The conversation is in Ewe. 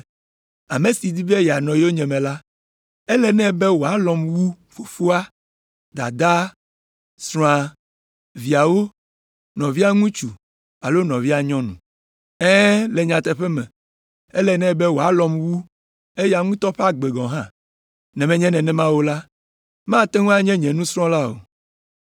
“Ame si di be yeanɔ yonyeme la, ele nɛ be wòalɔ̃m wu fofoa, dadaa, srɔ̃a, viawo, nɔvia ŋutsu alo nɔvia nyɔnu. Ɛ̃, le nyateƒe me, ele nɛ be wòalɔ̃m wu eya ŋutɔ ƒe agbe gɔ̃ hã. Ne menye nenema o la, mate ŋu anye nye nusrɔ̃la o.